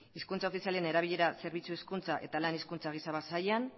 hizkuntza ofizialen erabilera zerbitzu hezkuntza eta lan hezkuntza sailean